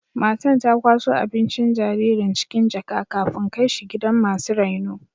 Matan ta kwaso abincin jaririn cikin jaka,, kafin kai shi gidan masu raino.